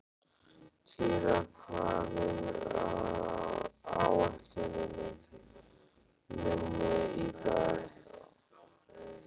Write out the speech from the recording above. Týra, hvað er á áætluninni minni í dag?